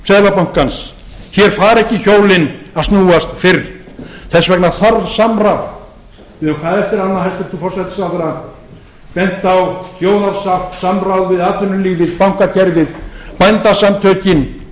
seðlabankans hér fara ekki hjólin að snúast fyrr þess vegna þarf samráð við höfum hvað eftir annað hæstvirtur forsætisráðherra bent á þjóðarsátt samráð við atvinnulífið bankakerfið bændasamtökin